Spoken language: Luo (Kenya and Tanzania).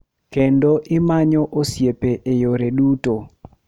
Kendo imanyo osiepe e yore duto.